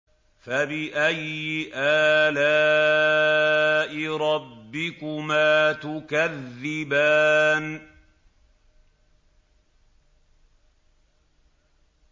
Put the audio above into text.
فَبِأَيِّ آلَاءِ رَبِّكُمَا تُكَذِّبَانِ